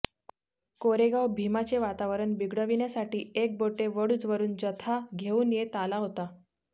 कोरेगाव भीमाचे वातावरण बिघडविण्यासाठी एकबोटे वडूजवरून जथा घेऊन येते आला होता